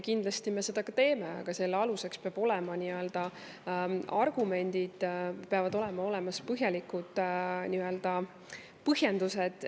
Kindlasti me seda ka teeme, aga selle aluseks peavad olema argumendid, peavad olema põhjalikud põhjendused.